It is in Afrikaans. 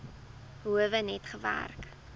howe net gewerk